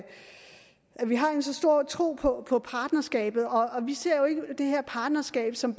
vi har en så stor tro på partnerskabet vi ser jo ikke bare det her partnerskab som